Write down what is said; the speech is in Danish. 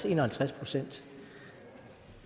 en og halvtreds procent